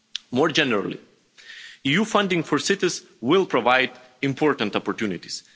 More generally, EU funding for cities will provide important opportunities.